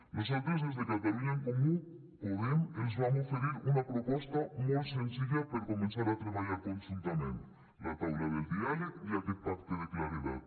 nosaltres des de catalunya en comú podem els vam oferir una proposta molt senzilla per començar a treballar conjuntament la taula del diàleg i aquest pacte de claredat